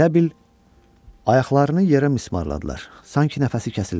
Elə bil ayaqlarını yerə mismarladılar, sanki nəfəsi kəsildi.